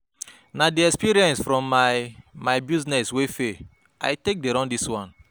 Na di experience from my my business wey fail I take dey run dis one.